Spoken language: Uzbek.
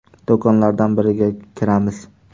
Do‘konlardan biriga kiramiz.